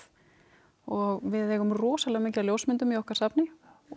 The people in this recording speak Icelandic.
og við eigum rosalega mikið af ljósmyndum í okkar safni og